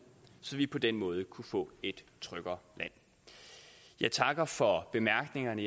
så vi på den måde kunne få et tryggere land jeg takker for bemærkningerne